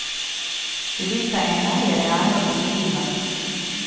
Številka ena je realno dosegljiva.